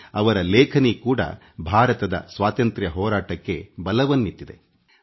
ಅವರ ಬರವಣಿಗೆಗಳು ಭಾರತದ ಸ್ವಾತಂತ್ರ್ಯ ಚಳವಳಿಗೆ ಬಹು ದೊಡ್ಡ ಶಕ್ತಿ ನೀಡಿವೆ